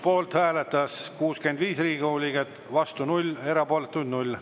Poolt hääletas 65 Riigikogu liiget, vastu 0, erapooletuid 0.